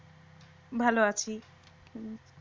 ভাল আছি।